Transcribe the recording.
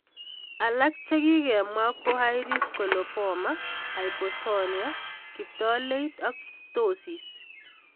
Alak che kikemwa ko iris coloboma, hypotonia, kiptaleit, ak ptosis.